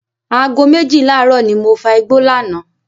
Aago méjìlá ààrọ́ ni mo fa igbó lánàá.